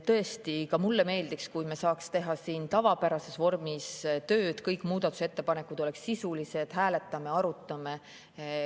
Tõesti, ka mulle meeldiks, kui me saaks teha siin tavapärases vormis tööd, kõik muudatusettepanekud oleksid sisulised, me hääletaksime, arutaksime.